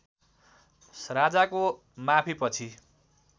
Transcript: राजाको माफीपछि